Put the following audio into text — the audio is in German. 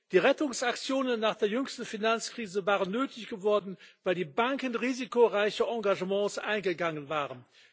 Die Rettungsaktionen nach der jüngsten Finanzkrise waren nötig geworden, weil die Banken risikoreiche Engagements eingegangen waren.